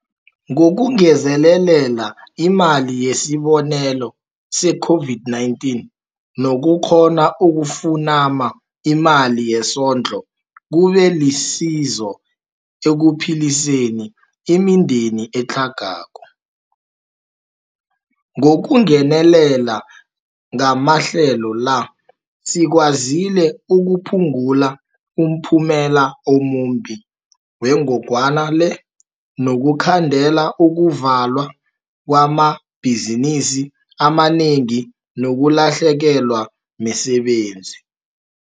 Ngokungezelela iMali yesiBonelelo se-COVID-19 nokukghona ukufunama imali yesondlo kube lisizo ekuphiliseni imindeni etlhagako. Ngokungenelela ngamahlelo la sikwazile ukuphungula umphumela omumbi wengogwana le nokukhandela ukuvalwa kwamabhi zinisi amanengi nokulahlekelwa misebenzi.